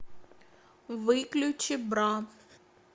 выключи бра